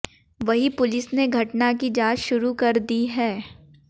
वहीं पुलिस ने घटना की जांच शूरू कर दी है